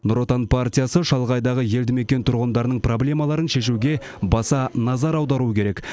нұр отан партиясы шалғайдағы елді мекен тұрғындарының проблемаларын шешуге баса назар аударуы керек